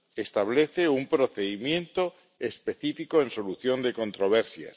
Establece un procedimiento específico para la solución de controversias.